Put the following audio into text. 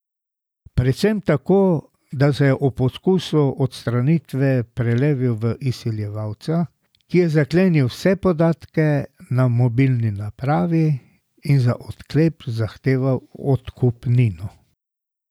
Predvsem tako, da se je ob poskusu odstranitve prelevil v izsiljevalca, ki je zaklenil vse podatke na mobilni napravi in za odklep zahteval odkupnino.